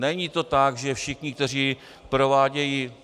Není to tak, že všichni, kteří provádějí...